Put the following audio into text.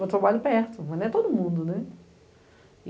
Vou trabalhar perto, mas não é todo mundo.